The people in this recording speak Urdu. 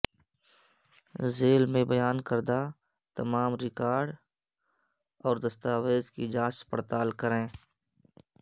ذیل میں بیان کردہ تمام ریکارڈ اور دستاویزات کی جانچ پڑتال کریں